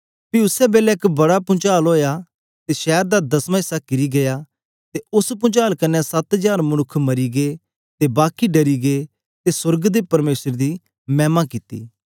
पी उसी बेलै एक बड़ा पुंचाल ओया ते शैर दा दसमा इस्सा किरी गीया ते उस्स पुंचाल कन्ने सत्त हजार मनुक्ख मरींगे ते बाकी डरी गै ते सोर्ग दे परमेसर दी मैह्मा कित्ती